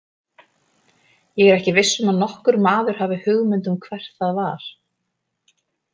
Ég er ekki viss um að nokkur maður hafi hugmynd um hvert það var.